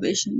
beeshine